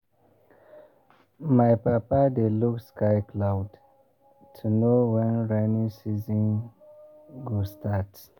my papa dey look sky cloud to know when rainy season go start.